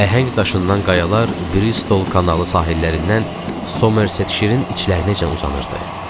Əhəng daşından qayalar Bristol kanalı sahillərindən Somerset şirinin içlərinəcən uzanırdı.